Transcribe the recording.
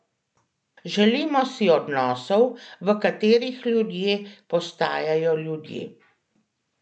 Želimo si odnosov, v katerih ljudje postajamo ljudje.